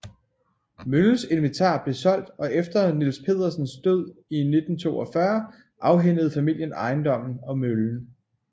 Møllens inventar blev solgt og efter Niels Pedersens død i 1942 afhændede familien ejendommen og møllen